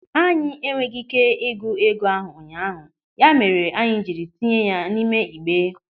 Anyị enweghị ị́ké ịgụ ego ahụ ụnyaahụ, ya mere anyị jiri tinye ya n'ime igbe.